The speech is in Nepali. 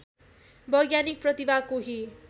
वैज्ञानिक प्रतिभा कोही